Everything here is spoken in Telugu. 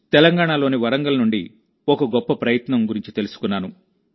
తెలంగాణలోని వరంగల్ నుండి ఒక గొప్ప ప్రయత్నం గురించి తెలుసుకున్నాను